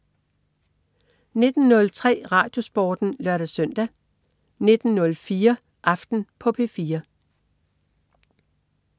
19.03 RadioSporten (lør-søn) 19.04 Aften på P4